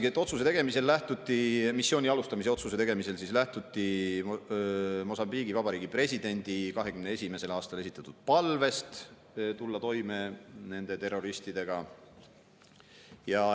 Noh, siin öeldaksegi, et missiooni alustamise otsuse tegemisel lähtuti Mosambiigi Vabariigi presidendi 2021. aastal esitatud palvest tulla toime nende terroristidega.